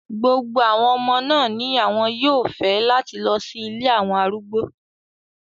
Gbogbo omo naa ni awon yoo fẹ lati lọ si ile awọn arugbo